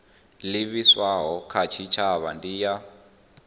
livhiswaho kha tshitshavha ndi ya